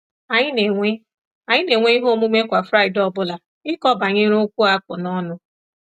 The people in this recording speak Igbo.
Anyị na-enwe Anyị na-enwe ihe omume kwa Fraịdee ọbụla, ịkọ banyere okwu a kpụ n’ọnụ.